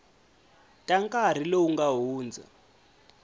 ta nkarhi lowu nga hundza